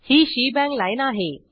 he shebang lineआहे